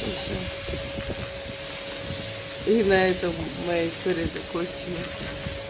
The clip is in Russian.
и все и на этом моя история закончена